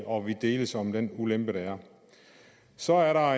og vi deles om den ulempe der er så er der